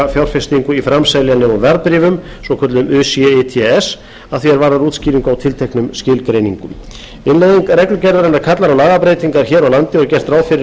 fjárfestingu í framseljanlegum verðbréfum að því er varðar útskýringu á tilteknum skilgreiningum innleiðing reglugerðarinnar kallar á lagabreytingar hér á landi og er gert ráð fyrir